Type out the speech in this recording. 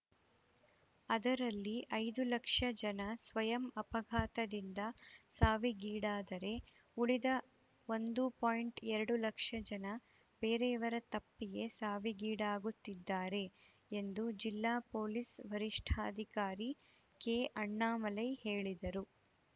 ಅದರಲ್ಲಿ ಐದು ಲಕ್ಷ ಜನ ಸ್ವಯಂ ಅಪಘಾತದಿಂದ ಸಾವಿಗೀಡಾದರೆ ಉಳಿದ ಒಂದು ಪಾಯಿಂಟ್ ಎರಡು ಲಕ್ಷ ಜನ ಬೇರೆಯವರ ತಪ್ಪಿಗೆ ಸಾವಿಗೀಡಾಗುತ್ತಿದ್ದಾರೆ ಎಂದು ಜಿಲ್ಲಾ ಪೊಲೀಸ್‌ ವರಿಷ್ಠಾಧಿಕಾರಿ ಕೆಅಣ್ಣಾಮಲೈ ಹೇಳಿದರು